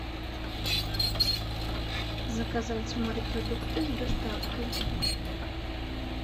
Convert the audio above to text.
заказать морепродукты с доставкой